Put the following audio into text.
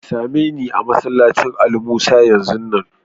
Tsame me a'masallacin Ali Musa yanzu nan!